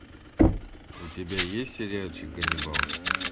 у тебя есть сериальчик ганнибал